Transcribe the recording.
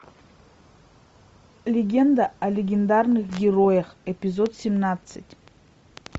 легенда о легендарных героях эпизод семнадцать